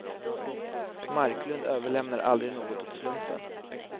Marklund överlämnar aldrig något åt slumpen.